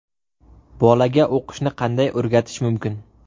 Bolaga o‘qishni qanday o‘rgatish mumkin?.